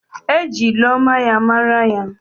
E ji ilu ọma ya mara ya.